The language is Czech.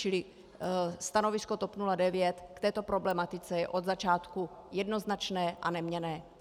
Čili stanovisko TOP 09 k této problematice je od začátku jednoznačné a neměnné.